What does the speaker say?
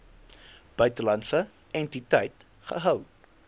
buitelandse entiteit gehou